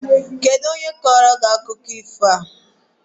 Kedu onye kọọlụ gị akụkọ ifo a?